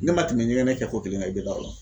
Ne ma tɛmɛ ɲɛgɛnɛ kɛ ko kelen kan i be da o la